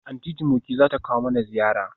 Aunty Jumoke zata kawo mana ziyara?